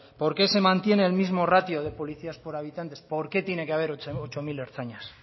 por qué se mantiene el mismo ratio de policías por habitantes por qué tiene que haber ocho mil ertzainas